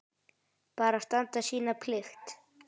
Bara standa sína plikt.